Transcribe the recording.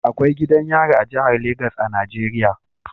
Akwai gidan yari a jihar Legas a Najeriya